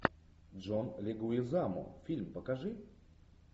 джон легуизамо фильм покажи